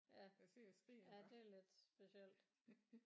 Ja ja det er lidt specielt